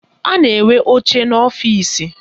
A na-enwe oche n'ọfịsi